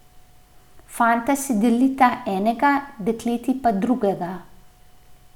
Fanta si delita enega, dekleti pa drugega.